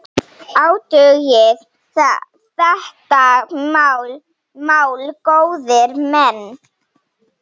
Athugið þetta mál, góðir menn!